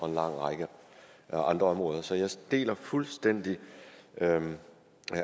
en lang række andre områder så jeg deler fuldstændig